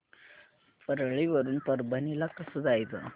परळी वरून परभणी ला कसं जायचं